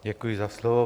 Děkuji za slovo.